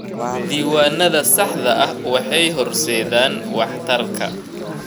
Diiwaanada saxda ah waxay horseedaan waxtarka.